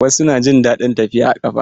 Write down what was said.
Wasu na jin daɗin tafiya a ƙafa.